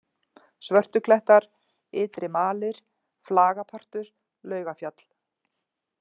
Svörtuklettar, Ytri-Malir, Flagapartur, Laugafjall